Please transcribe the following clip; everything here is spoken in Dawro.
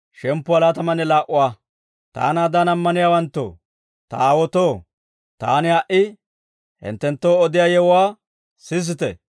«Taanaadan ammaniyaawanttoo, ta aawaatoo, taani ha"i hinttenttoo odiyaa yewuwaa sisite!»